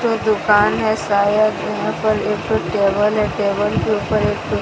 ये दुकान है शायद यहां पर एक टेबल है टेबल के ऊपर एक--